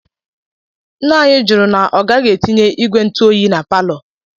Ńnà anyị jụrụ na ọ gaghi etinye ìgwè ntụ oyi n'paló.